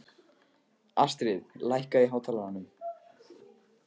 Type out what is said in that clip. Astrid, lækkaðu í hátalaranum.